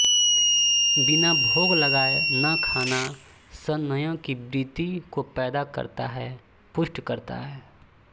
बिना भोग लगाये न खाना संयम की वृत्ति को पैदा करता है पुष्ट करता है